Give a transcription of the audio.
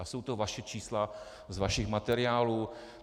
A jsou to vaše čísla z vašich materiálů.